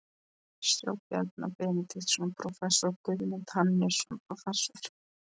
sjá Bjarna Benediktsson, prófessor, og Guðmund Hannesson, prófessor.